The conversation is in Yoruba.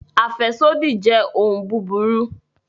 Afẹsodi jẹ ohun buburu